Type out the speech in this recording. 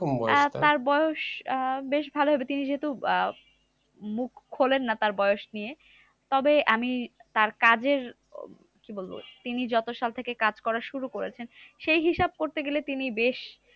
আহ তার বয়স আহ বেশ ভালো হবে। তিনি যেহেতু আহ মুখ খোলেন না তার বয়স নিয়ে, তবে আমি তার কাজের আহ কি বলবো? তিনি যত শতকে কাজ করা শুরু করেছেন সেই হিসাব করতে গেলে, তিনি বেশ